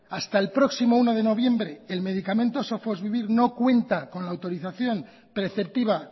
hasta el próximo uno de noviembre el medicamento sofosbuvir no cuenta con la autorización preceptiva